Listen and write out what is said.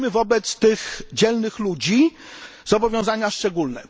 Mamy wobec tych dzielnych ludzi zobowiązania szczególne.